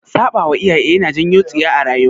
Saɓawa iyaye yana janyo tsiya a rayuwa